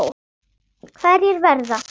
Hverjir verða?